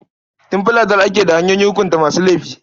Tun fil azal ake da hanyoyin hukunta masu laifi.